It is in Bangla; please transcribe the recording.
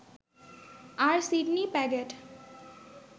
আর সিডনি প্যাগেট